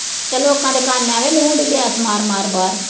ਤੇ ਲੋਕਾਂ ਦੇ ਕੰਨ ਅਵੇ ਨੂੜ ਡਈ ਗੈਸ ਮਾਰ ਮਾਰ ਬਾਹਰ